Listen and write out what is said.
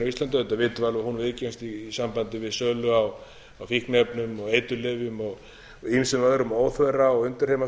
íslandi auðvitað vitum við að hún viðgengst alveg í sambandi við sölu á fíkniefnum og eiturlyfjum og ýmsum öðrum óþverra og undirheimastarfsemi